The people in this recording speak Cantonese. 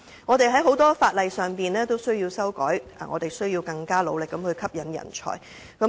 我們有很多法例需要修改，也需要更努力地吸引人才。